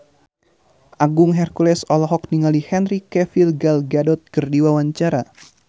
Agung Hercules olohok ningali Henry Cavill Gal Gadot keur diwawancara